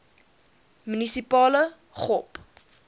munisipale gop